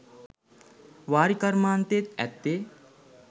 වාරි කර්මාන්තයේත් ඇත්තේ